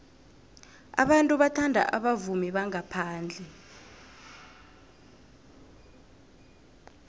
abantu bathanda abavumi bangaphandle